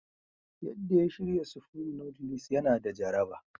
Yadda ya shirya Supreme noodles yana da jaraba.